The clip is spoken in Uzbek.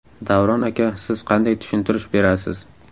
Davron aka siz qanday tushuntirish berasiz?